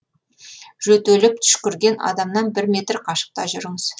жөтеліп түшкірген адамнан бір метр қашықта жүріңіз